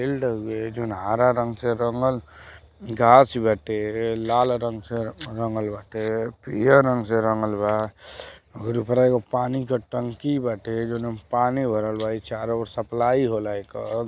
Field हउए जउन हरा रंग से रंगल घास बाटे लाल रंग से रंगल बाटे पियर रंग से रंगल बा। ओकरे ऊपरा एगो पानी के टंकी बाटे जौना में पानी भरल बा। इ चारो ओर सप्लाई होला एकर --